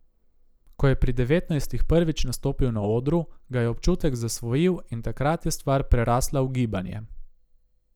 Ko je pri devetnajstih prvič nastopil na odru, ga je občutek zasvojil in takrat je stvar prerasla v gibanje.